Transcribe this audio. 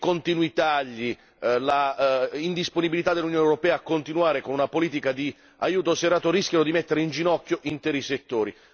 I continui tagli e l'indisponibilità dell'Unione europea a continuare con una politica di aiuto serrato rischiano di mettere inginocchio interi settori.